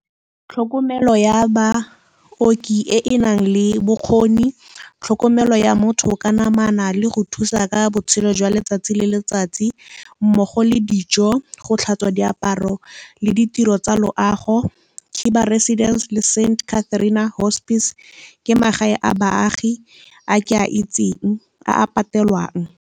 Tlhokomelo ya baoki e e nang le bokgoni, tlhokomelo ya motho ka namana le go thusa ka botshelo jwa letsatsi le letsatsi mmogo le dijo, go tlhatswa diaparo le ditiro tsa loago. Khiba Residence le Saint Catherina hospice ke magae a baagi a ke a itseng a a patelwang.